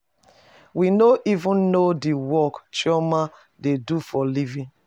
We no even know the work chioma dey do for living